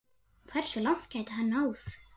Hversu langt gæti hann náð?